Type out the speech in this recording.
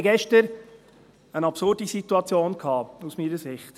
Wir hatten gestern eine absurde Situation, aus meiner Sicht.